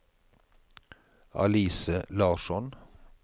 Alice Larsson